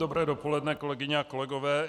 Dobré dopoledne, kolegyně a kolegové.